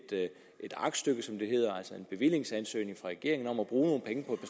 aktstykke som det hedder altså en bevillingsansøgning fra regeringen om at bruge nogle penge på